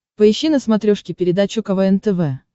поищи на смотрешке передачу квн тв